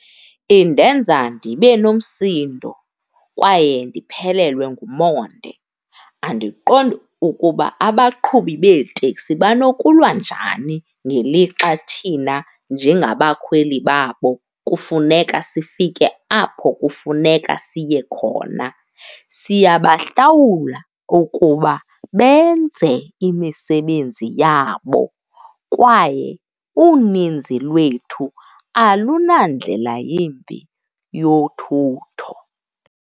Indenza ndibe nomsindo kwaye ndiphelelwe ngumonde, andiqondi ukuba abaqhubi beeteksi banokulwa njani ngelixa thina njengabakhweli babo kufuneka sifike apho kufuneka siye khona. Siyabahlawula okuba benze imisebenzi yabo kwaye uninzi lwethu alunandlela yimbi yothutho.